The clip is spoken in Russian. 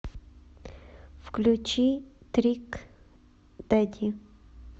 включи трик дэдди